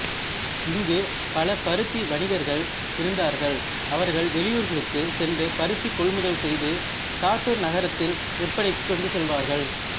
இங்கு பல பருத்தி வணிகர்கள் இருந்தார்கள் அவர்கள் வெளியூர்களுக்கு சென்று பருத்தி கொள்முதல் செய்து சாத்தூர் நகரத்தில் விற்பனைக்கு கொண்டுசெல்வார்கள்